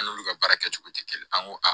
An n'olu ka baara kɛcogo tɛ kelen ye an ko